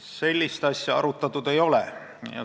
Sellist asja arutatud ei ole.